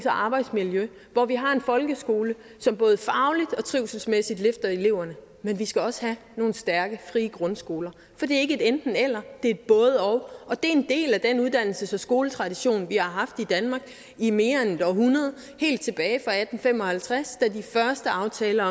arbejdsmiljø hvor vi har en folkeskole som både fagligt og trivselsmæssigt løfter eleverne men vi skal også have nogle stærke frie grundskoler for det er ikke et enten eller det er et både og og det er en del af den uddannelses og skoletradition vi har haft i danmark i mere end et århundrede helt tilbage fra atten fem og halvtreds da de første aftaler